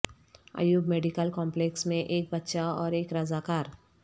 Ayub medical complex میں ایک بچہ اور ایک رضاکار